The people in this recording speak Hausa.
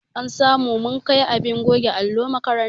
An sa mu mun kai abin goge allo makaranta.